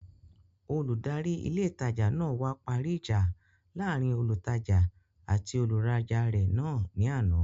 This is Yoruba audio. Olùdarí ilé ìtajà náà wá parí ìjà láàrin olùtajà àti olùrajà náà ní àná